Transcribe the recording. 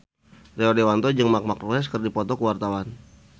Rio Dewanto jeung Marc Marquez keur dipoto ku wartawan